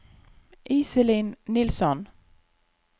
Iselin Nilsson